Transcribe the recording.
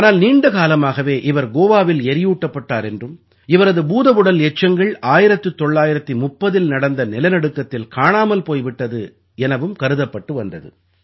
ஆனால் நீண்ட காலமாகவே இவர் கோவாவில் எரியூட்டப்பட்டார் என்றும் இவரது பூதவுடல் எச்சங்கள் 1930இல் நடந்த நிலநடுக்கத்தில் காணாமல் போய் விட்டது எனவும் கருதப்பட்டு வந்தது